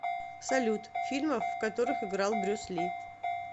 салют фильмов в которых играл брюс ли